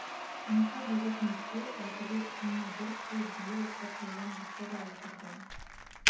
қонаққа беретін етке байтөбет күніне бір ту бие бір тайдан жықты да отырды